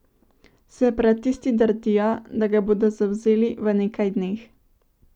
Separatisti trdijo, da ga bodo zavzeli v nekaj dneh.